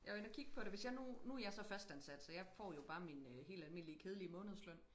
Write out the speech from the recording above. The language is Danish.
Jeg var inde og kig på det hvis jeg nu nu jeg så fastansat så jeg får jo bare min helt almindelige kedelige månedsløn